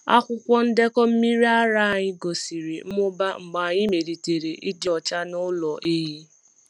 Akwụkwọ ndekọ mmiri ara anyị gosiri mmụba mgbe anyị melitere ịdị ọcha n’ụlọ ehi.